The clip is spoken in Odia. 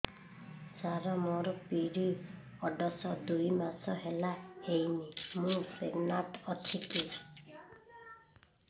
ସାର ମୋର ପିରୀଅଡ଼ସ ଦୁଇ ମାସ ହେଲା ହେଇନି ମୁ ପ୍ରେଗନାଂଟ ଅଛି କି